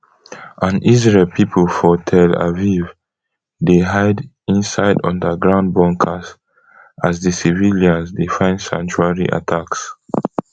and israel pipo for tel aviv dey hide inside underground bunkers as di civilians dey find sanctuary attacks